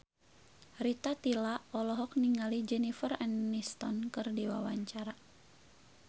Rita Tila olohok ningali Jennifer Aniston keur diwawancara